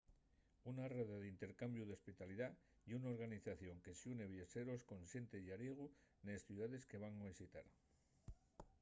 una rede d’intercambiu d’hospitalidá ye una organización que xune viaxeros con xente llariego nes ciudaes que van visitar